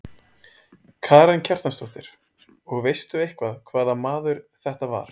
Karen Kjartansdóttir: Og veistu eitthvað hvaða maður þetta var?